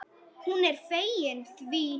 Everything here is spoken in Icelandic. Hún er fegin því.